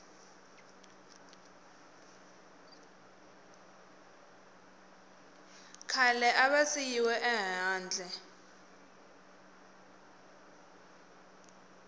khale a va siyiwe ehandle